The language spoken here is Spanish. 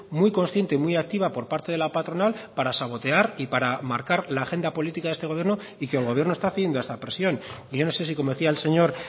muy consciente y muy activa por parte de la patronal para sabotear y para marcar la agenda política de este gobierno y que el gobierno está cediendo a esta presión y yo no sé si como decía el señor